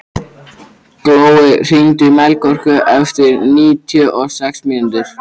Glói, hringdu í Melkorku eftir níutíu og sex mínútur.